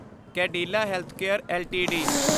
Cadila healthcare LTD